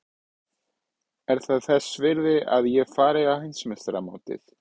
Er það þess virði að ég fari á Heimsmeistaramótið?